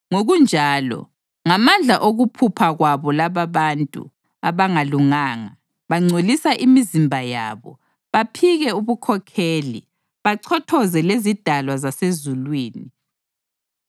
Ngokunjalo, ngamandla okuphupha kwabo lababantu abangalunganga bangcolisa imizimba yabo, baphike ubukhokheli, bachothoze lezidalwa zasezulwini.